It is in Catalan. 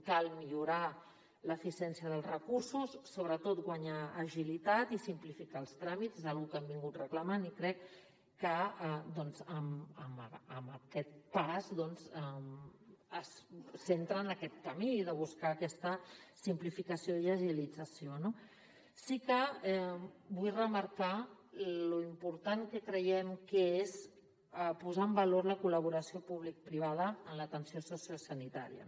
cal millorar l’eficiència dels recursos sobretot guanyar agilitat i simplificar els tràmits és una cosa que hem reclamat i crec que doncs amb aquest pas s’entra en aquest camí de buscar aquesta simplificació i agilització no sí que vull remarcar lo important que creiem que és posar en valor la col·laboració publicoprivada en l’atenció sociosanitària